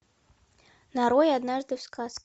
нарой однажды в сказке